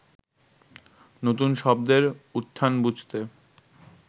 নতুন শব্দের উত্থান বুঝতে